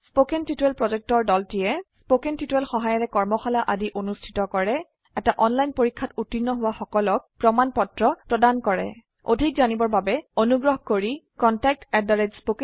কথন শিক্ষণ প্ৰকল্পৰ দলটিয়ে কথন শিক্ষণ সহায়িকাৰে কৰ্মশালা আদি অনুষ্ঠিত কৰে এটা অনলাইন পৰীক্ষাত উত্তীৰ্ণ হোৱা সকলক প্ৰমাণ পত্ৰ প্ৰদান কৰে অধিক জানিবৰ বাবে অনুগ্ৰহ কৰি contactspoken tutorialorg এই ঠিকনাত লিখক